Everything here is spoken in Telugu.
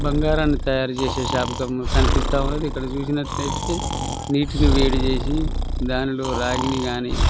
బంగారాన్ని తయారు చేసే షాప్ కనిపిస్తా ఉన్నది. ఇక్కడ చూసినట్టయితే నీటిని వేడి చేసి దానిలో రాగిణి కానీ--